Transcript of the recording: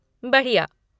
बढ़िया!